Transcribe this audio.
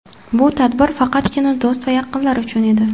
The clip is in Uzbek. Bu tadbir faqatgina do‘st va yaqinlar uchun edi.